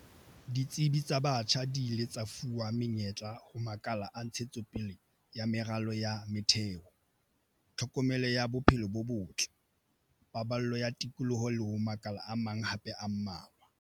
Ditsebi tsa batjha di ile tsa fuwa menyetla ho makala a ntshetsopele ya meralo ya metheo, tlhokomelo ya bophelo bo botle, paballo ya tikoloho le ho makala a mang hape a mmalwa.